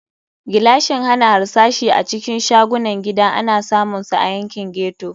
Gilashin hana harsashi a cikin shagunan gida ana samunsa a yankin ghetto.